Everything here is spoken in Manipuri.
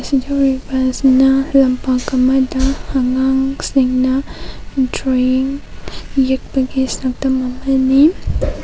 ꯁꯤꯗ ꯎꯔꯤꯕ ꯑꯁꯤꯅ ꯂꯝꯄꯛ ꯑꯃꯗ ꯑꯉꯥꯡꯁꯤꯡꯅ ꯗꯔꯣꯌꯤꯡ ꯌꯦꯛꯄꯒꯤ ꯁꯛꯇꯝ ꯑꯃꯅꯤ꯫